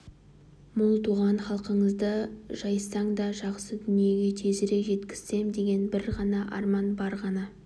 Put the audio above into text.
мол туған халқыңызды жайсаң да жақсы күндерге тезірек жеткізсем деген бір ғана арман бір ғана